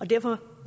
og derfor